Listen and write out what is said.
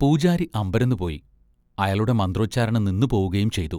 പൂജാരി അമ്പരന്നുപോയി, അയാളുടെ മന്ത്രോച്ചാരണം നിന്നുപോവുകയുംചെയ്തു.